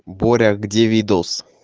боря где видоус